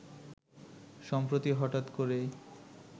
সম্প্রতি হঠাৎ করে